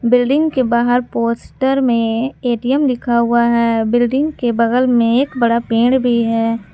Building के बाहर poster में ए_टी_एम लिखा हुआ है बिल्डिंग के बगल में एक बड़ा पेड़ भी है।